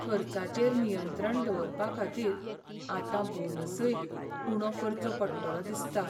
खर्चाचेर नियंत्रण दवरपाखातीर आतां बोनसय उणो करचो पडटलो दिसता.